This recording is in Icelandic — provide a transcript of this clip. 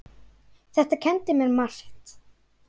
Þetta kenndi mér margt.